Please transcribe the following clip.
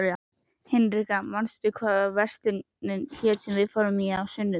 Hinrikka, manstu hvað verslunin hét sem við fórum í á sunnudaginn?